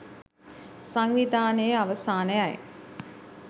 සංවිධානයේ අවසානයයි